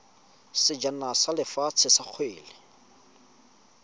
sejana sa lefatshe sa kgwele